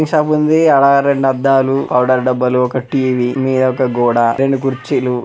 ఈ షాప్ ఉంది ఆడ రెండు అద్దాలు పౌడర్ డబ్బాలు ఒక టి_వి మీద ఒక గోడ రెండు కుర్చీలు.